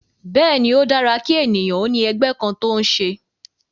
Bẹ́ẹ̀ ni, ó dára kí ènìyàn ó ní ẹgbẹ́ kan tó ń ṣe